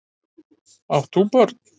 Átt þú börn?